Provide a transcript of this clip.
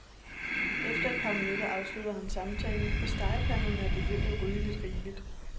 Efter et par minutter afslutter han samtalen, for stegepanderne er begyndt at ryge lidt rigeligt.